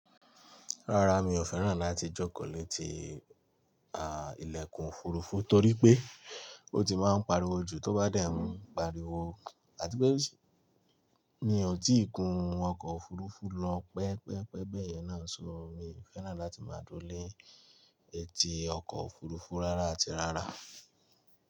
Rárá, mi ò fẹ́ràn láti jókòó létí à, ìlẹ̀kùn òfurufú torí pé ó ti máa ń pariwo jù tó bá dẹ̀ n pariwo àti pé, mi ò tíì gun ọkọ̀ òfurufú lọ pẹ́ pẹ́ pẹ́ bẹ́ẹ̀ yẹn náà ṣo, mi ò fẹ́ràn láti máa duro ni etí ọkọ̀ òfurufú rárá àti rárá.